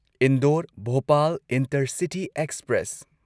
Indore Bhopal intercity express